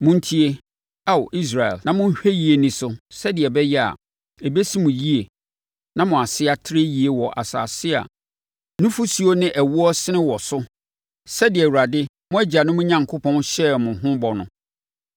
Montie, Ao Israel, na monhwɛ yie nni so sɛdeɛ ɛbɛyɛ a, ɛbɛsi mo yie na mo ase atrɛ yie wɔ asase a nufosuo ne ɛwoɔ resene wɔ so sɛdeɛ Awurade, mo agyanom Onyankopɔn, hyɛɛ mo ho bɔ no.